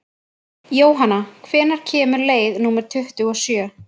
Jónanna, hvenær kemur leið númer tuttugu og sjö?